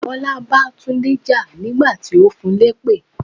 Bọlá bá Tunde jà nígbà tí ó fún un lépè.